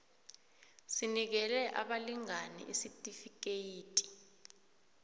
sinikele abalingani isitifikeyiti